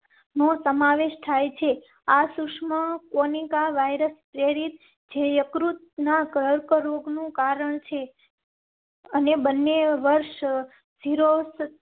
નો સમાવેશ થાય છે. આ સુષમા કોનિકા વાયરસ પ્રેરિત જે યકૃત ના કર્કરોગ નું કારણ છે. અને બંને વર્ષ થી રોસ્